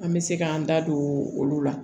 An bɛ se k'an da don olu la